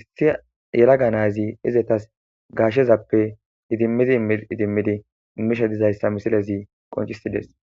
isti yelaga nayzi izetas gaashshezappe idimmidi idimmidi immishe dizayssa misilezi qoncisides